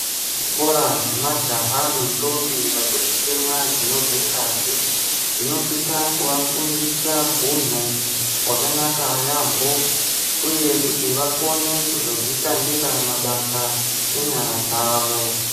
Zvikora zvemajaha nendombi vachiri kutemwa dzinobve ngazi, zvinosisa kuvafundisa hunhu hwakanaka yaampho, kuti vakone kuzozvishandira mabasa enyara dzavo.